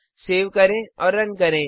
save करें और run करें